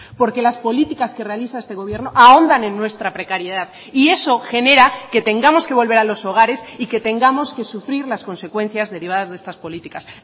porque las políticas que realiza este gobierno ahondan en nuestra precariedad y eso genera que tengamos que volver a los hogares y que tengamos que sufrir las consecuencias derivadas de estas políticas